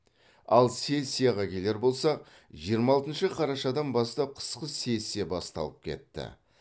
ал сессияға келер болсақ жиырма алтыншы қарашадан бастап қысқы сессия басталып кетті